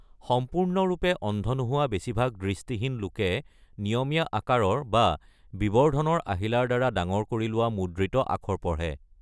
সম্পূৰ্ণৰূপে অন্ধ নোহোৱা বেছিভাগ দৃষ্টিহীন লোকে নিয়মীয়া আকাৰৰ বা বিবৰ্ধনৰ আহিলাৰদ্বাৰা ডাঙৰ কৰি লোৱা মুদ্ৰিত আখৰ পঢ়ে।